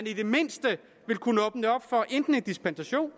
i det mindste vil kunne åbne for en dispensation